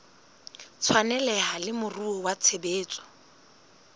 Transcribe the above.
tshwaneleha le moruo wa tshebetso